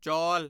ਚੌਲ